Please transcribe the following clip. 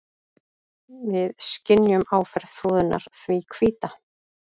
Við skynjum áferð froðunnar því hvíta.